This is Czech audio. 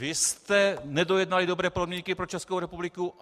Vy jste nedojednali dobré podmínky pro Českou republiku.